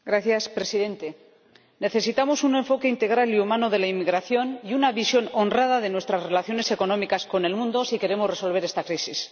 Señor Presidente, necesitamos un enfoque integral y humano de la inmigración y una visión honrada de nuestras relaciones económicas con el mundo si queremos resolver esta crisis.